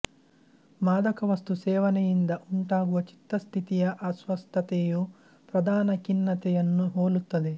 ಮಾದಕವಸ್ತು ಸೇವನೆಯಿಂದ ಉಂಟಾಗುವ ಚಿತ್ತ ಸ್ಥಿತಿಯ ಅಸ್ವಸ್ಥತೆಯು ಪ್ರಧಾನ ಖಿನ್ನತೆಯನ್ನು ಹೋಲುತ್ತದೆ